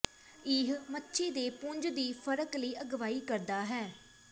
ਇਹ ਮੱਛੀ ਦੇ ਪੁੰਜ ਦੀ ਫਰਕ ਲਈ ਅਗਵਾਈ ਕਰਦਾ ਹੈ